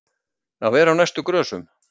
Að vera á næstu grösum